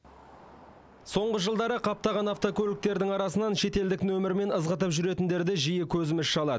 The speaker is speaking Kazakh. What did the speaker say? соңғы жылдары қаптаған автокөліктің арасынан шетелдік нөмірмен ызғытып жүретіндерді жиі көзіміз шалады